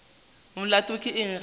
molato ke eng ge a